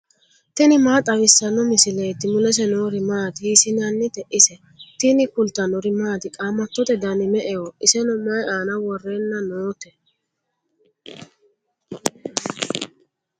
tini maa xawissanno misileeti ? mulese noori maati ? hiissinannite ise ? tini kultannori maati? Qaamattotte Dani me'eho? isenno mayi aanna worrenna nootte?